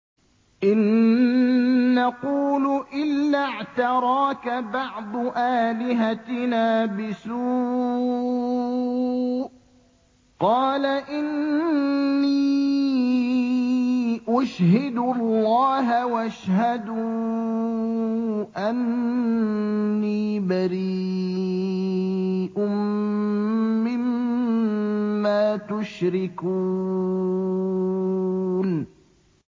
إِن نَّقُولُ إِلَّا اعْتَرَاكَ بَعْضُ آلِهَتِنَا بِسُوءٍ ۗ قَالَ إِنِّي أُشْهِدُ اللَّهَ وَاشْهَدُوا أَنِّي بَرِيءٌ مِّمَّا تُشْرِكُونَ